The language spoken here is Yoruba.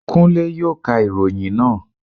Kúnlé yóò ka ìròyìn naa